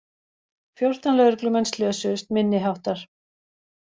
Fjórtán lögreglumenn slösuðust minniháttar